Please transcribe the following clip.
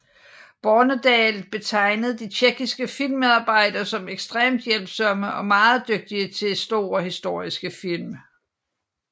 Bornedal betegnede de tjekkiske filmmedarbejdere som ekstremt hjælpsomme og meget dygtige til store historiske film